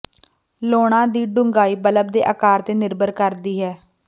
ਲਾਉਣਾ ਦੀ ਡੂੰਘਾਈ ਬੱਲਬ ਦੇ ਆਕਾਰ ਤੇ ਨਿਰਭਰ ਕਰਦੀ ਹੈ